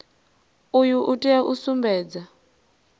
uyu u tea u sumbedza